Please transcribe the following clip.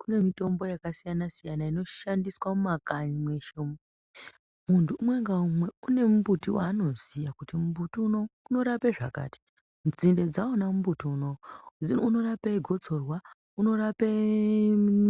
Kune mitombo yakasiyana siyana inoshandiswa mumakanyi mweshe umu. Munthu umwe ngaumwe une mumbuti waanoziya kuti mumbuti unowu unorape zvakati, kuti nzinde dzawona mumbuti unowu unorape gotsorwa, unorape